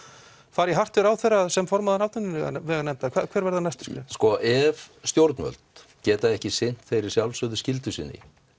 fara í hart við ráðherra sem formaður atvinnuveganefndar hver verða næstu skref sko ef stjórnvöld geta ekki sinnt þeirri sjálfsögðu skyldu sinni